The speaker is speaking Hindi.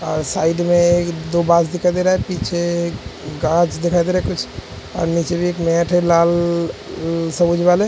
साइड में दो दिखाई दे रहा है पीछे कांँच दिखाई दे रहा है ।